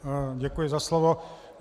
Děkuji za slovo.